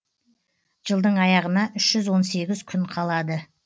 жылдың аяғына үш жүз он сегіз күн қалады